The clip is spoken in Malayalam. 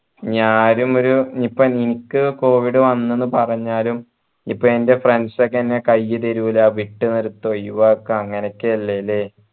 ഞാനുമൊരു ഇപ്പൊ എനിക്ക് covid വന്ന് എന്ന് പറഞ്ഞാലുംഇപ്പൊ ൻ്റെ friends ഒക്കെ എന്നെ കയ്യ് തരൂ വിട്ടു നിർത്തു ഒഴിവാക്ക അങ്ങനെയൊക്കല്ലേ ല്ലേ